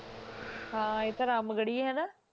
ਹਾਂ ਇਹ ਤਾਂ ਰਾਮਗੜ੍ਹੀਆ ਹੈ ਨਾ